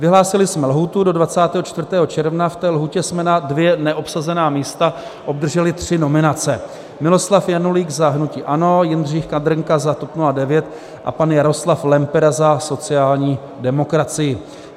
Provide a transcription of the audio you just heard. Vyhlásili jsme lhůtu do 24. června, v té lhůtě jsme na dvě neobsazená místa obdrželi tři nominace: Miloslav Janulík za hnutí ANO, Jindřich Kabrnka za TOP 09 a pan Jaroslav Lempera za sociální demokracii.